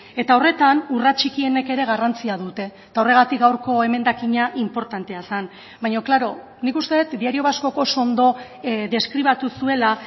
eta horretan urrats txikienek ere garrantzia dute eta horregatik gaurko emendakina inportantea zen baina klaro nik uste dut diario vascok oso ondo deskribatu zuela